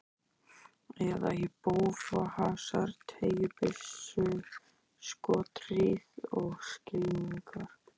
Eða í bófahasar, teygjubyssuskothríð og skylmingar.